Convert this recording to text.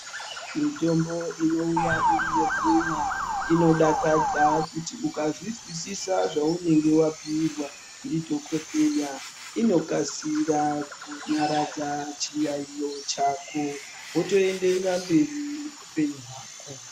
Mitombo inouya iri yekumwa inodakadza kuti ukazvizwisisa zvaunenge wapiwa ndidhokodheya inokasira kunyaradza chiyayiyo chako wotoenderera mberi neupenyu wako.